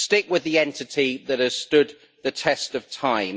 Stick with the entity that has stood the test of time.